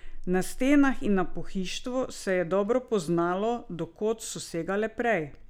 Na stenah in na pohištvu se je dobro poznalo, do kod so segale prej.